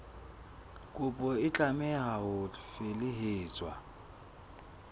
kopo e tlameha ho felehetswa